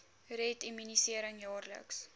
red immunisering jaarliks